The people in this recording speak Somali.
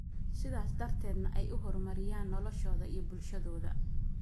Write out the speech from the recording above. sidaas darteedna ay u horumariyaan noloshooda iyo bulshadooda.